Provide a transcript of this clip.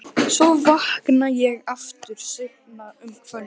Svo vakna ég aftur seinna um kvöldið.